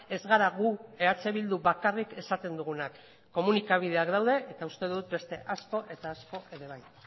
ez gara gu eh bildu bakarrik esaten dugunak komunikabideak daude eta uste dut beste asko eta asko ere bai